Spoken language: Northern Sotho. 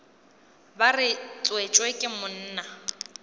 re ba tswetšwe ke monna